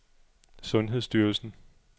sundhedsstyrelsen